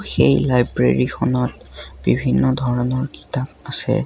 সেই লাইব্ৰেৰিখনত বিভিন্ন ধৰণৰ কিতাপ আছে।